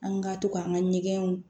An ka to k'an ka ɲɛgɛnw